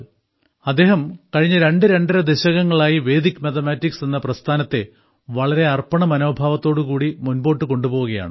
അദ്ദേഹം കഴിഞ്ഞ രണ്ട്രണ്ടര ദശകങ്ങളായി വേദിക് മാത്തമാറ്റിക്സ് എന്ന പ്രസ്ഥാനത്തെ വളരെ അർപ്പണ മനോഭാവത്തോടുകൂടി മുൻപോട്ട് കൊണ്ടുപോവുകയാണ്